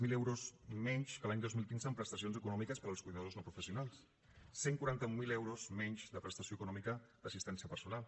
zero euros menys que l’any dos mil quinze en prestacions econòmiques per als cuidadors no professionals cent i quaranta mil euros menys de prestació econòmica d’assistència personal